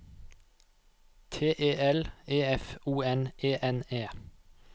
T E L E F O N E N E